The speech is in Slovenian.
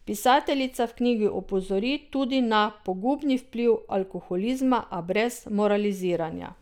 Pisateljica v knjigi opozori tudi na pogubni vpliv alkoholizma, a brez moraliziranja.